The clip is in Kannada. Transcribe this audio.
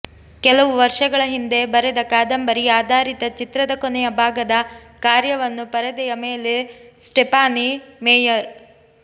ಕೆಲವು ವರ್ಷಗಳ ಹಿಂದೆ ಬರೆದ ಕಾದಂಬರಿ ಆಧಾರಿತ ಚಿತ್ರದ ಕೊನೆಯ ಭಾಗದ ಕಾರ್ಯವನ್ನು ಪರದೆಯ ಮೇಲೆ ಸ್ಟೆಫಾನಿ ಮೇಯರ್